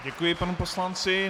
Děkuji panu poslanci.